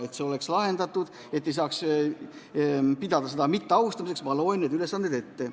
Et see asi oleks lahendatud ja et ei saaks rääkida mitteaustamisest, ma loen need ette.